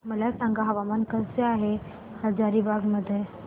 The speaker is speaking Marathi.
मला सांगा हवामान कसे आहे हजारीबाग चे